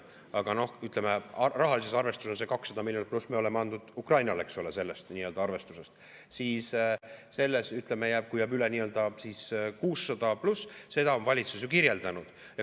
Aga rahalises arvestuses 200+ miljonit me oleme andnud Ukrainale sellest arvestusest ja siis jääb üle 600+, seda on valitsus ju kirjeldanud.